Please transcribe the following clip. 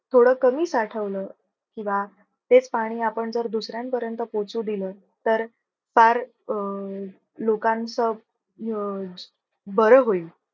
थोडं कमी साठवलं किंव्हा तेच पाणी आपण जर, दुसऱ्यांपर्यंत पोहचू दिल तर, फार अं लोकांचं अं बर होईल.